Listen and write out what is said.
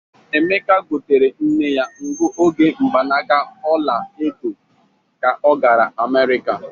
Emeka gotere nne ya nguoge mgbanaka ola edo ka o gara Amerika.